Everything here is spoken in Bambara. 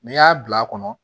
N'i y'a bila a kɔnɔ